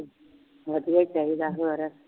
ਵਧੀਆ ਹੀ ਚਾਹੀਦਾ, ਹੋਰ